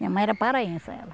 Minha mãe era paraense ela.